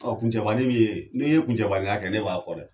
Ɔ kuncɛbanin min ye n'i ye kuncɛbaninya kɛ ne b'a fɔ dɛ